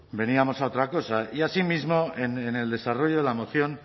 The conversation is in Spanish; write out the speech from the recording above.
veníamos a otra cosa y asimismo en el desarrollo de la moción